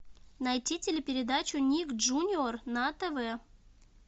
найти телепередачу ник джуниор на тв